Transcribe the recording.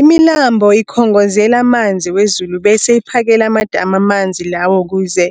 Imilambo ikhongozela amanzi wezulu bese iphakele amadamu amanzi lawo ukuze